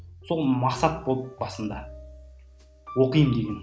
сол мақсат болды басында оқимын деген